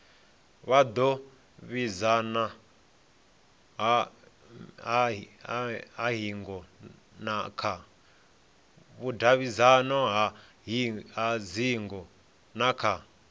vhudavhidzano ha hingo na kha